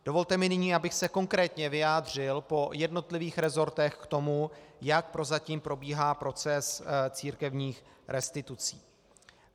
Dovolte mi nyní, abych se konkrétně vyjádřil po jednotlivých resortech k tomu, jak prozatím probíhá proces církevních restitucí.